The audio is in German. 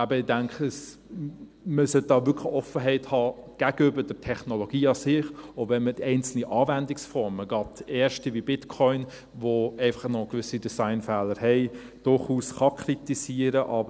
Deshalb, denke ich, sollte man hier wirklich Offenheit zeigen gegenüber der Technologie an sich, auch wenn man einzelne Anwendungsformen, gerade erste wie Bitcoin, die einfach noch gewisse Designfehler haben, durchaus kritisieren kann.